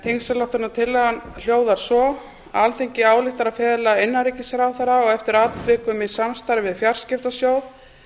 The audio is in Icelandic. þingsályktunartillagan hljóðar svo alþingi ályktar að fela innanríkisráðherra og eftir atvikum í samstarfi við fjarskiptasjóð